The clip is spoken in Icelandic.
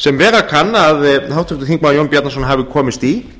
sem vera kann að háttvirtur þingmaður jón bjarnason hafi komist í